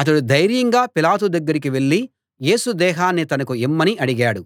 అతడు ధైర్యంగా పిలాతు దగ్గరికి వెళ్ళి యేసు దేహాన్ని తనకు ఇమ్మని అడిగాడు